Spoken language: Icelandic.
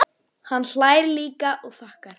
Hann hlær líka og þakkar.